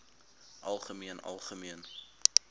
algemeen algemeen